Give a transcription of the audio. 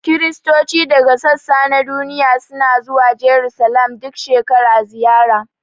Kiristoci daga sassa na duniya suna zuwa Jarusalim duk shekara ziyara